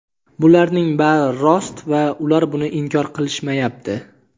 bularning bari rost va ular buni inkor qilishmayapti.